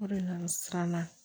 O de nana siran